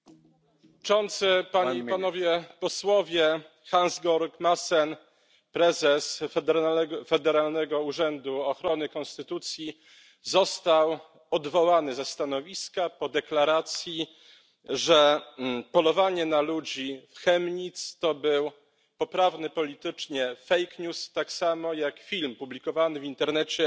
Panie Przewodniczący! Panie i Panowie Posłowie! Hans Georg Maassen, prezes Federalnego Urzędu Ochrony Konstytucji, został odwołany ze stanowiska po deklaracji, że polowanie na ludzi w Chemnitz to był poprawny politycznie fake news, tak samo jak film publikowany w internecie,